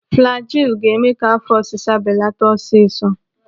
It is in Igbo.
Flajilu ga-eme ka afọ ọsịsa belata ọsịsọ.